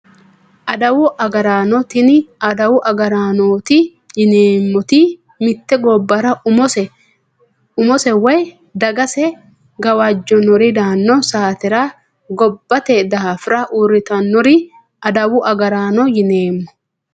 Adawu agaraano tini adawu agaraanooti yineemmoti mitte gobbara umose woyi dagase gawajjannori daanno saatera gobbate daafira uurritannore adawu agaraano yineemmo